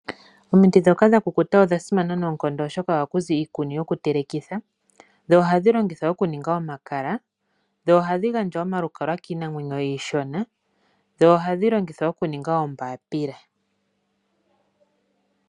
Omiti ndhoka dhakukuta odha simana, oshoka ohaku zi iikuni yokutelekithwa, dho ohadhi longithwa okuninga omakala, ohadhi gandja omalukalwa kiinamwenyo iishona, oshowo okulongithwa okuninga oombapila.